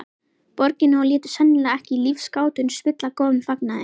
Borginni og létu sennilega ekki lífsgátuna spilla góðum fagnaði.